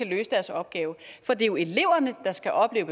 løse deres opgave for det er jo eleverne der skal opleve